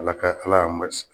Ala ka Ala y' a